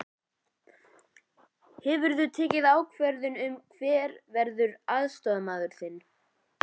Hefurðu tekið ákvörðun um hver verður aðstoðarmaður þinn?